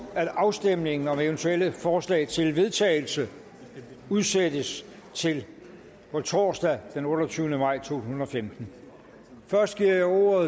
at afstemningen om eventuelle forslag til vedtagelse udsættes til på torsdag den otteogtyvende maj to tusind og femten først giver jeg ordet